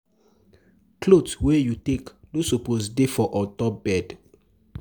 Cloth wey you take sleep no suppose dey for ontop bed